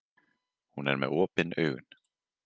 Hún er með opin augun.